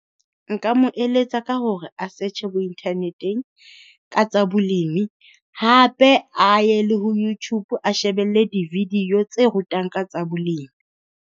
Nka mo eletsa ka hore a search-e bo internet-eng ka tsa bolemi, hape a ye le ho Youtube a shebelle di-video tse rutang ka tsa bolemi.